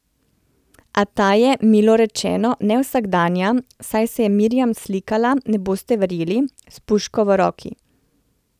A ta je, milo rečeno, nevsakdanja, saj se je Mirjam slikala, ne boste verjeli, s puško v roki.